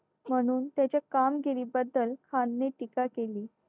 म्हणून त्याच्या कामगिरीबद्दल खानने टीका केली